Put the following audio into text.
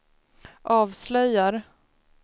avslöjar